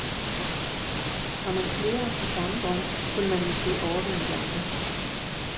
Var man flere om den samme drøm, kunne man måske overvinde de andre.